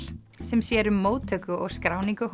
sem sér um móttöku og skráningu